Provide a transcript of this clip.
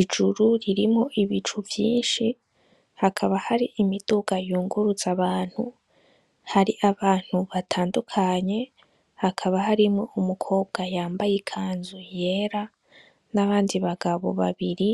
Ijuru rirmwo ibicu vyinshi, hakaba har'imiduga yunguruzabantu, har'abantu batandukanye hakaba harimwo n'umukobwa yambaye ikanzu yera, nabandi bagabo babiri,